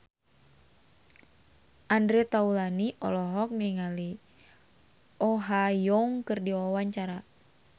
Andre Taulany olohok ningali Oh Ha Young keur diwawancara